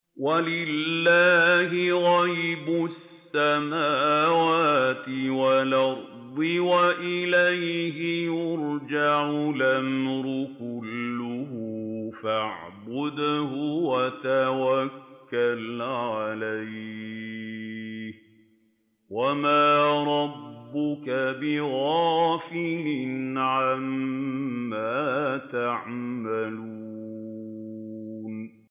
وَلِلَّهِ غَيْبُ السَّمَاوَاتِ وَالْأَرْضِ وَإِلَيْهِ يُرْجَعُ الْأَمْرُ كُلُّهُ فَاعْبُدْهُ وَتَوَكَّلْ عَلَيْهِ ۚ وَمَا رَبُّكَ بِغَافِلٍ عَمَّا تَعْمَلُونَ